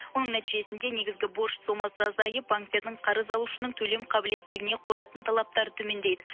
оның нәтижесінде негізгі борыш сомасы азайып банктердің қарыз алушының төлем қабілеттілігіне қоятын талаптары төмендейді